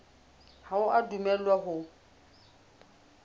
ha o a dumellwa ho